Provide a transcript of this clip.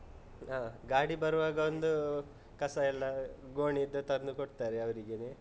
ಹ, ಗಾಡಿ ಬರುವಾಗ ಒಂದೂ, ಕಸ ಎಲ್ಲ ಗೋಣಿದ್ದು ತಂದು ಕೊಡ್ತರೆ ಅವ್ರಿಗೆನೆ.